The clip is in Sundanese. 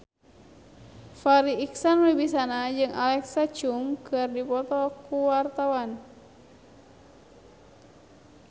Farri Icksan Wibisana jeung Alexa Chung keur dipoto ku wartawan